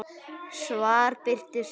Svar birtist síðar.